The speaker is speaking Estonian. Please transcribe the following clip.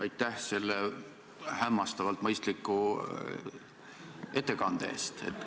Aitäh selle hämmastavalt mõistliku ettekande eest!